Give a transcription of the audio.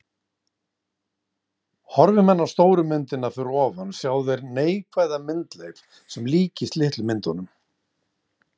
Horfi menn á stóru myndina fyrir ofan sjá þeir neikvæða myndleif sem líkist litlu myndunum.